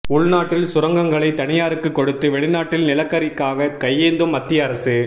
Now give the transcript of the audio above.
உள்நாட்டில் சுரங்கங்களை தனியாருக்கு கொடுத்து வெளிநாட்டில் நிலக்கரிக்காக கையேந்தும் மத்திய அரசு